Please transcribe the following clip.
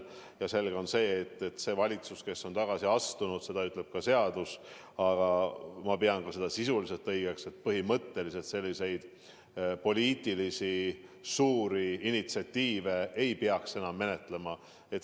Ja selge on, et valitsus, kes on tagasi astunud – seda ütleb seadus, aga ma pean seda ka sisuliselt õigeks –, põhimõtteliselt suuri poliitilisi initsiatiive ei peaks enam ette võtma.